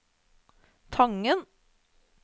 Tangen